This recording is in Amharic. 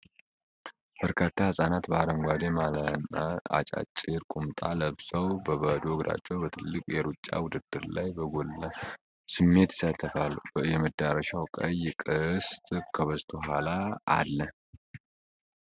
በርካታ ህጻናት በአረንጓዴ ማልያና አጫጭር ቁምጣ ለብሰው በባዶ እግራቸው በትልቅ የሩጫ ውድድር ላይ በጋለ ስሜት ይሳተፋሉ። የመድረሻው ቀይ ቅስት ከበስተኋላ አለ።